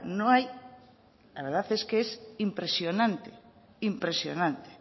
no hay la verdad es que es impresionante impresionante